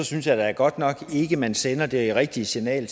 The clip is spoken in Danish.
synes jeg da godt nok ikke man sender det rigtige signal